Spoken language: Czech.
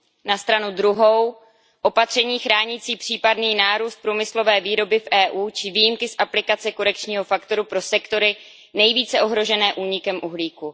Na stranu druhou opatření chránící případný nárůst průmyslové výroby v EU či výjimky z aplikace korekčního faktoru pro sektory nejvíce ohrožené únikem uhlíku.